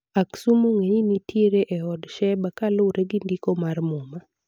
Aksum ong'e ni nitiere e od Sheba kuluwore gi ndiko mar muma